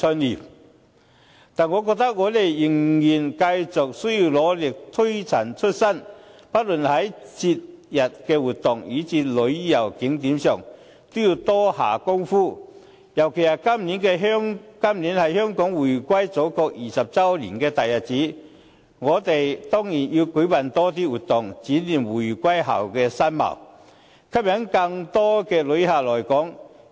然而，我覺得我們仍然需要繼續努力、推陳出新，不論在節日活動以至旅遊景點上都要多下工夫。尤其今年是香港回歸祖國20周年的大日子，我們當然要舉辦更多活動，展現回歸後的新貌，吸引更多旅客來港。